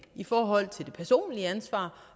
i forhold til det personlige ansvar